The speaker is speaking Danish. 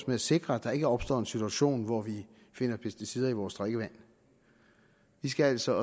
med at sikre at der ikke opstår en situation hvor vi finder pesticider i vores drikkevand vi skal altså